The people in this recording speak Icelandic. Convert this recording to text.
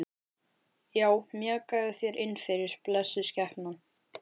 Já, mjakaðu þér innfyrir, blessuð skepnan.